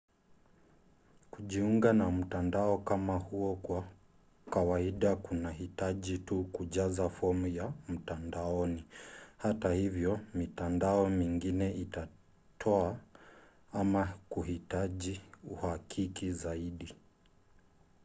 kujiunga na mtandao kama huo kwa kawaida kunahitaji tu kujaza fomu ya mtandaoni; hata hivyo mitandao mingine itatoa ama kuhitaji uhakiki zaidi